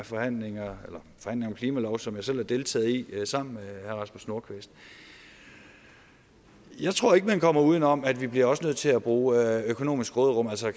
forhandlingerne om klimaloven som jeg selv har deltaget i sammen med herre rasmus nordqvist jeg tror ikke at man komme uden om at vi også bliver nødt til at bruge af det økonomiske råderum altså